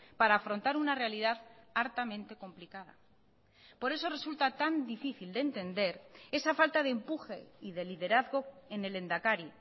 para afrontar una realidad hartamente complicada por eso resulta tan difícil de entender esa falta de empuje y de liderazgo en el lehendakari